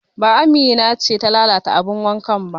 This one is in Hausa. Ba Amina ce ta lalata abin wanka ba